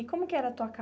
E como que era a tua